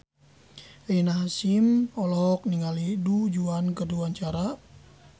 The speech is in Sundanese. Rina Hasyim olohok ningali Du Juan keur diwawancara